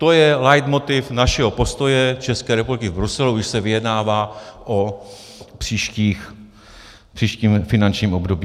To je leitmotiv našeho postoje České republiky v Bruselu, když se vyjednává o příštím finančním období.